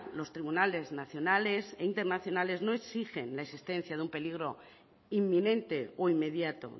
los tribunales nacionales e internacionales no exigen la existencia de un peligro inminente o inmediato